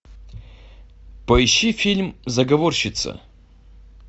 поищи фильм заговорщица